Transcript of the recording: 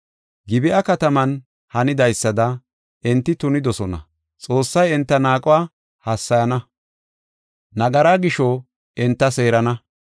Gib7a kataman hanidaysada enti tunidosona. Xoossay enta naaquwa hassayana; nagaraa gisho enta seerana.